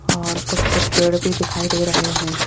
और कुछ कुछ पेड़ भी दिखाई दे रहे हैं।